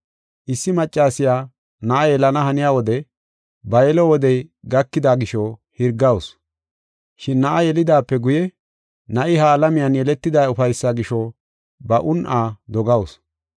Issi maccasiya na7a yelana haniya wode ba yelo wodey gakida gisho hirgawusu. Shin na7a yelidaape guye na7i ha alamiyan yeletida ufaysaa gisho ba un7aa dogawusu.